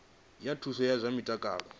zwa thuso ya zwa mutakalo